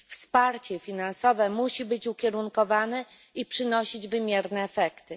Wsparcie finansowe musi być ukierunkowane i przynosić wymierne efekty.